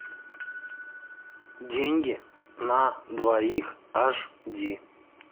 деньги на двоих аш ди